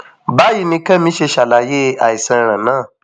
báyìí ni kẹmi ṣe ṣàlàyé àìsàn rẹ náà